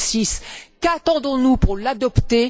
2006. Qu'attendons nous pour l'adopter?